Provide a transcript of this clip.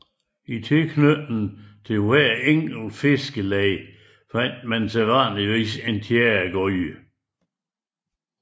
I tilknytning til hvert enkelt fiskerleje fandtes sædvanligvis en tjæregryde